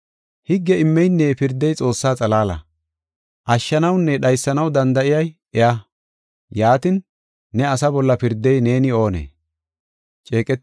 Higge immeynne pirdey Xoossaa xalaala. Ashshanawunne dhaysanaw danda7ey iya. Yaatin, ne asa bolla pirdey neeni oonee?